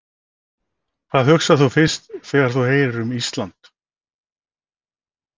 Hvað hugsar þú fyrst þegar þú heyrir Ísland?